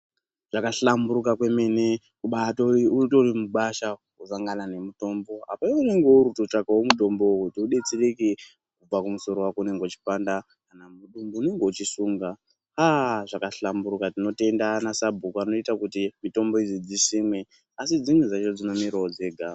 Zvakahlamburika kwemene ubatori utori mugwasha wotosangana nemutombo. Apa iwewe unenge uri kutotsvaka wo mutombo wo kuti udetsereke kubva kumusoro wako unenge uchipanda kana mudumbu munenge muchisunga. Aaah zvakahlamburika tinotenda anasabhuku anoita kuti mitombo idzi dzisimwe asi dzimwe dzacho dzinomera wo dzega.